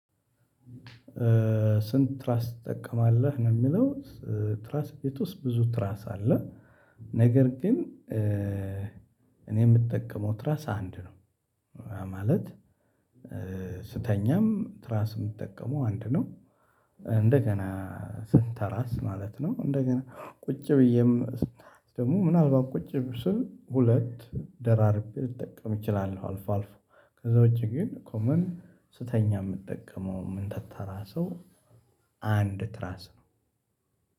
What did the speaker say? ስንት ትራስ ትጠቀማለህ ነው የሚለው? ትራስ ቤት ውስጥ ብዙ ትራስ አለ። ነገር ግን እኔ የምጠቀመው ትራስ አንድ ነው። ማለት ስተኛም ትራስ የምጠቀመው አንድ ነው። እንደገና ስንተራስ ማለት ነው እንደገና ቁጭ ብዬም ደግሞ ምናልባት ቁጭ ስል ሁለት ደራርቤ ልጠቀም እችላለሁ። አልፎ አልፎ ከዛ ውጪ ግን ኮመን ስተኛ የምጠቀመው ምንተተራሰው አን አንድ ትራስ ነው።